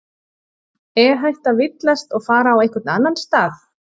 Er hægt að villast og fara á einhvern annan stað?